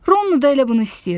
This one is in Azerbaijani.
Ronnu da elə bunu istəyirdi.